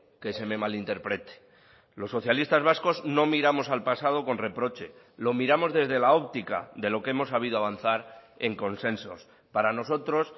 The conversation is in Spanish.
que se me malinterprete los socialistas vascos no miramos al pasado con reproche lo miramos desde la óptica de lo que hemos sabido avanzar en consensos para nosotros